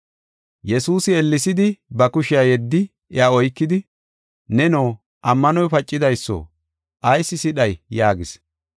Yesuusi ellesidi ba kushiya yeddi iya oykidi, “Neno, ammanoy pacidayso ayis sidhay” yaagis.